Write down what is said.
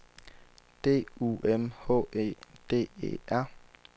D U M H E D E R